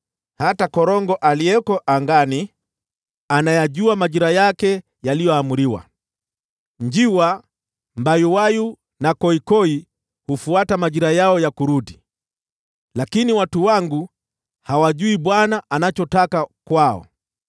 Hata korongo aliyeko angani anayajua majira yake yaliyoamriwa, nao njiwa, mbayuwayu na koikoi hufuata majira yao ya kurudi. Lakini watu wangu hawajui Bwana anachotaka kwao.